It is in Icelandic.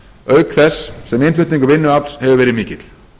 auk þess sem innflutningur vinnuafls hefur verið mikill